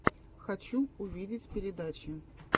хочу увидеть передачи